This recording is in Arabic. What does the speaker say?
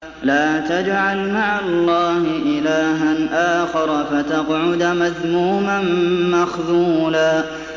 لَّا تَجْعَلْ مَعَ اللَّهِ إِلَٰهًا آخَرَ فَتَقْعُدَ مَذْمُومًا مَّخْذُولًا